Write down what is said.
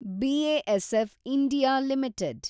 B A S F India limited